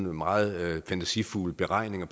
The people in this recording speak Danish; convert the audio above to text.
meget fantasifulde beregninger